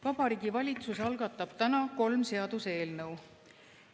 Vabariigi Valitsus algatab täna kolm seaduseelnõu.